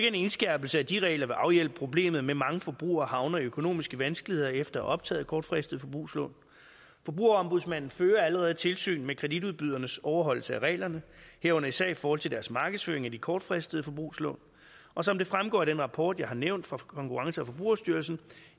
en indskærpelse af de regler vil afhjælpe problemet med at mange forbrugere havner i økonomiske vanskeligheder efter at have optaget kortfristede forbrugslån forbrugerombudsmanden fører allerede tilsyn med kreditudbydernes overholdelse af reglerne herunder især i forhold til deres markedsføring af de kortfristede forbrugslån og som det fremgår af den rapport jeg har nævnt fra konkurrence og forbrugerstyrelsen